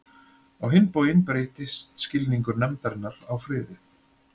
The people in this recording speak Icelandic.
Á hinn bóginn breyttist skilningur nefndarinnar á friði.